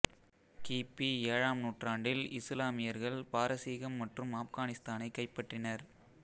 கிபி ஏழாம் நூற்றாண்டில் இசுலாமியர்கள் பாரசீகம் மற்றும் ஆப்கானிஸ்தானை கைப்பற்றினர்